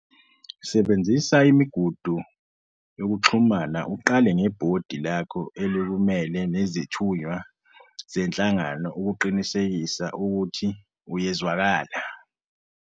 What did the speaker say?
Sebenzisa imigudu yokuxhumana uqale ngebhodi lakho elikumele nezithunywa zenhlangano ukuqinisekisa ukuthi uyezwakela.